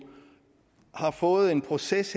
har fået en proces